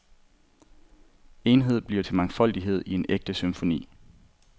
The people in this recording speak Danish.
Enhed bliver til mangfoldighed i en ægte symfoni.